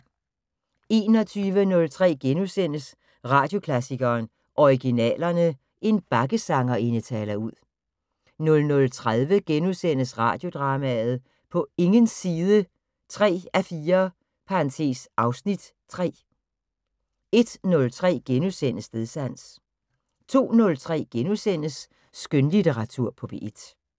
21:03: Radioklassikeren: Originalerne. En bakkesangerinde taler ud * 00:30: Radiodrama: På ingens side 3:4 (Afs. 3)* 01:03: Stedsans * 02:03: Skønlitteratur på P1 *